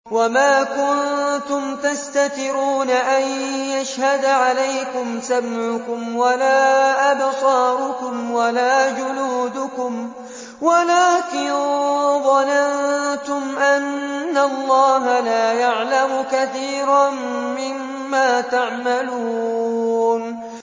وَمَا كُنتُمْ تَسْتَتِرُونَ أَن يَشْهَدَ عَلَيْكُمْ سَمْعُكُمْ وَلَا أَبْصَارُكُمْ وَلَا جُلُودُكُمْ وَلَٰكِن ظَنَنتُمْ أَنَّ اللَّهَ لَا يَعْلَمُ كَثِيرًا مِّمَّا تَعْمَلُونَ